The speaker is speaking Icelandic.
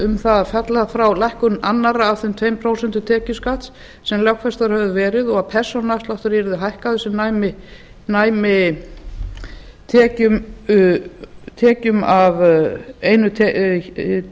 um það að falla frá lækkun annars af þeim tveim prósentum tekjuskatts sem lögfestar höfðu verið og að persónuafsláttur yrði hækkaður sem næmi tekjum af einni